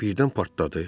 Birdən partladı.